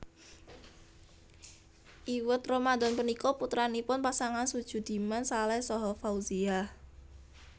Iwet Ramadhan punika putranipun pasangan Sujudiman Saleh saha Fauziah